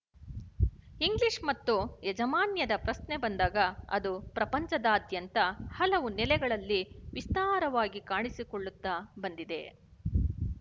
English ಮತ್ತು ಯಾಜಮಾನ್ಯದ ಪ್ರಶ್ನೆ ಬಂದಾಗ ಅದು ಪ್ರಪಂಚದಾದ್ಯಂತ ಹಲವು ನೆಲೆಗಳಲ್ಲಿ ವಿಸ್ತಾರವಾಗಿ ಕಾಣಿಸಿಕೊಳ್ಳುತ್ತಾ ಬಂದಿದೆ